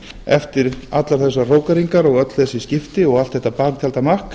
eftir allar þessar hrókeringar og öll þessi skipti og allt þetta baktjaldamakk